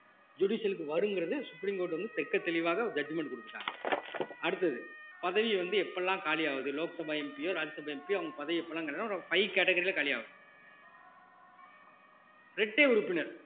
judicial க்கு வருங்கிறது supreme court வந்து தெக்கத் தெளிவாக judgement கொடுத்துட்டாங்க அடுத்தது பதவி வந்து எப்ப எல்லாம் காலியாவுது லோக்சபா MP யோ ராஜ்யசபா MP யோ அவங்க பதவியை இப்பலாம் five category ல காலியாவுது இரட்டை உறுப்பினர்